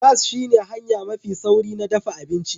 Gas shine hanya mafi sauri na dafa abinci